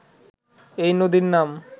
এই নদীর নাম